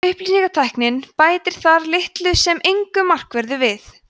upplýsingatæknin bætir þar litlu sem engu markverðu við